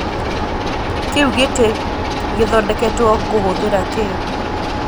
kĩu ngĩti ngĩthondeketwo kũhuthira kĩĩ